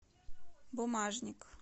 бумажник